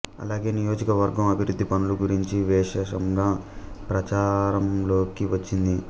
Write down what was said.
అలాగే నియోజక వర్గం అభివృద్ధి పనుల గురించి విశేషంగా ప్రచారంలోకి వచ్చింది